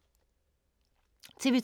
TV 2